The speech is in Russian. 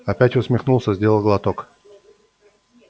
опять усмехнулся сделал глоток